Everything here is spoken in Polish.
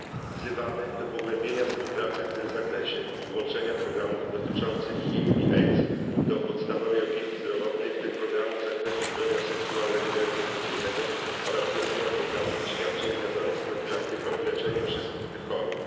Wzywamy do pogłębienia współpracy w tym zakresie i włączenia programów dotyczących HIV i AIDS do podstawowej opieki zdrowotnej, w tym programów z zakresu zdrowia seksualnego i reprodukcyjnego oraz wzmocnienia programów i świadczeń związanych z profilaktyką i leczeniem wszystkich tych chorób.